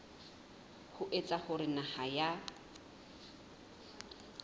ho etsa hore naha ya